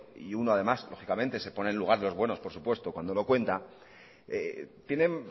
y uno además lógicamente se pone en el lugar de los buenos por supuesto cuando lo cuenta tienen